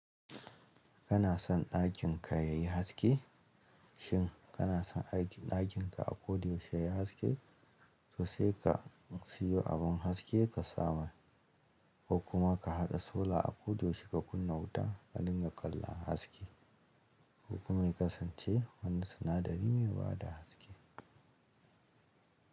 Kana son ɗakin ka yayi haske? Shin kana son ɗakin ka akoda yaushe yayi haske? To sai ka siyo abun haske ka sa masa ko kuma ka haɗa sola akoda yaushe ka kunna wuta, ka dinga ƙallon haske ko kuma ya kasance wani sinadari mai bada haske.